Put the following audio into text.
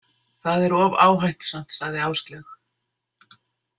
Það er of áhættusamt, sagði Áslaug.